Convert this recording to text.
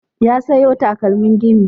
Ya sayo takalman gini.